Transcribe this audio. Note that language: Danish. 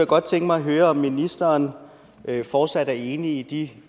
godt tænke mig at høre om ministeren fortsat er enig i de